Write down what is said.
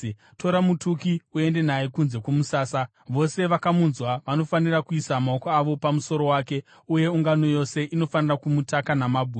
“Tora mutuki uende naye kunze kwomusasa. Vose vakamunzwa vanofanira kuisa maoko avo pamusoro wake uye ungano yose inofanira kumutaka namabwe.